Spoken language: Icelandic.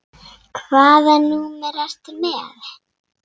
Hvaða númer ertu með?